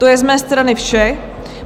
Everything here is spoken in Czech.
To je z mé strany vše.